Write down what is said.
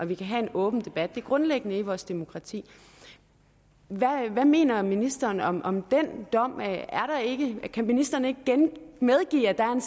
vi kan have en åben debat det er grundlæggende i vores demokrati hvad mener ministeren om om den dom kan ministeren ikke medgive at der er en